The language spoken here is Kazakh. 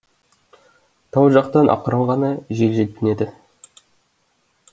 тау жақтан ақырын ғана жел желпінеді